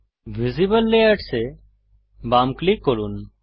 visible layers এ বাম click করুন